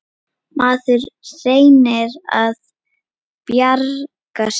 Maður reynir að bjarga sér.